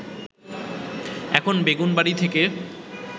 এখন বেগুনবাড়ি থেকে